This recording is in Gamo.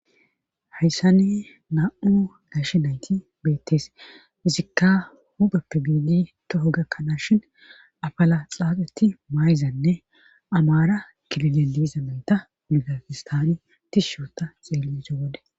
hayssane na7u gashi nayti beettes fizikka hupheppi biidi toho gakkanaashin apala xaaxeti maayzanne amaara kilile diizamenta migakistani tishshoota xeelese wode